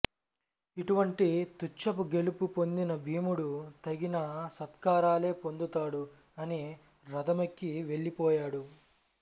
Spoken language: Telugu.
ఇటువంటి తుచ్చపు గెలుపు పొందిన భీముడు తగిన సత్కారాలే పొందుతాడు అని రథమెక్కి వెళ్లిపోయాడు